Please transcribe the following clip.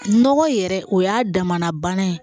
Nɔgɔ yɛrɛ o y'a damana bana ye